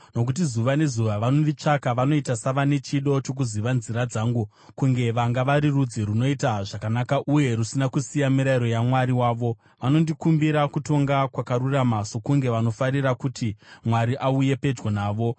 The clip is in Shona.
Nokuti zuva nezuva vanonditsvaka; vanoita savane chido chokuziva nzira dzangu, kunge vanga vari rudzi runoita zvakanaka uye rusina kusiya mirayiro yaMwari wavo. Vanondikumbira kutonga kwakarurama sokunge vanofarira kuti Mwari auye pedyo navo.